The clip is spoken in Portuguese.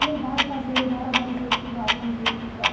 Tu vai fazer bora, vamos estudar, vamos estudar.